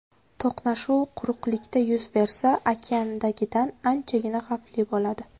To‘qnashuv quruqlikda yuz bersa, okeandagidan anchagina xavfli bo‘ladi.